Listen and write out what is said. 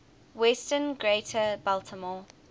western greater baltimore